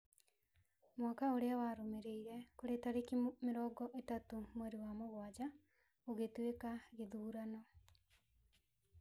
Mwaka ũrĩa warũmĩrĩire, kũrĩ tareki mĩrongo ĩtatũ mweri wa mũgwanja , gũgĩtuĩka gĩthurano